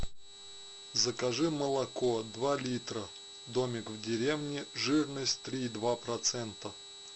закажи молоко два литра домик в деревне жирность три и два процента